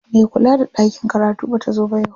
Me kula da ɗakin karatu bata zo ba yau.